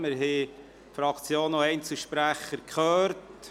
Wir haben die Fraktionen und die Einzelsprechenden gehört.